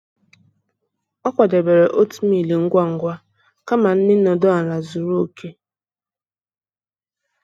Ọ kwadebere oatmeal ngwa ngwa ngwa kama nri nọdụ ala zuru oke.